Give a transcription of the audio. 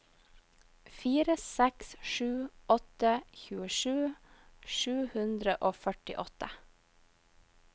fire seks sju åtte tjuesju sju hundre og førtiåtte